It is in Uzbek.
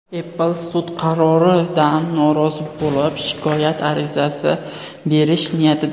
Apple sud qaroridan norozi bo‘lib shikoyat arizasi berish niyatida.